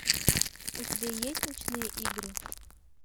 у тебя есть ночные игры